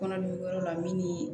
Kɔnɔdugu yɔrɔ la min ni